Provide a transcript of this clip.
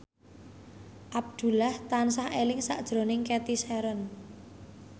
Abdullah tansah eling sakjroning Cathy Sharon